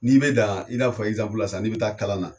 N'i bɛ dan i n'a fɔ sisan n'i bɛ taa KALANNA.